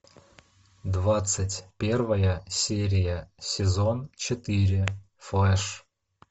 двадцать первая серия сезон четыре флэш